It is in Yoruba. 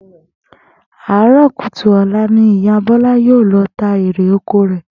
Àárò̩ kùtùkùtù ò̩la ni Ìyá Bó̩lá yóò lo̩ ta erè oko rè̩